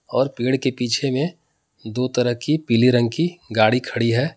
और पेड़ के पीछे में दो तरह की पीले रंग की गाड़ी खड़ी है।